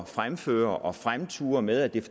fremføre og fremture med at det er